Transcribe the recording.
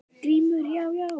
GRÍMUR: Já, já!